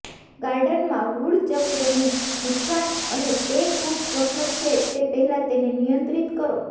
ગાર્ડનમાં વુડચકનું નુકસાન અને તે ખૂબ સ્વપ્ન છે તે પહેલાં તેને નિયંત્રિત કરો